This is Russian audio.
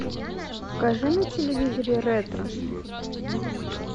покажи на телевизоре ретро